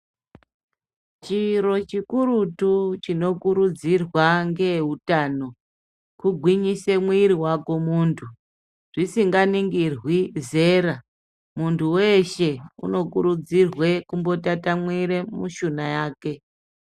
Chiro chikurutu chinokurudzirwa ngeeutano kugwinyise mwiri wako muntu zvisinganingirwi zera muntu weshe unokurudzirwe kumbotatamura mushuna yake.